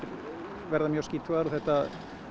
verða mjög skítugar og þetta